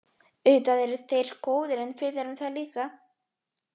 Auðvitað eru þeir góðir en við erum það líka.